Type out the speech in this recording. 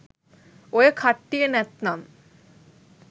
ඔය කට්ටිය නැත්නම්